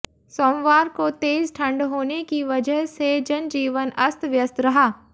सोमवार को तेज ठंड होने की वजह से जनजीवन अस्त व्यस्त रहा